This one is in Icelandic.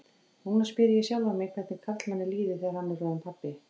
Núna spyr ég sjálfan mig hvernig karlmanni líði þegar hann er orðinn pabbi.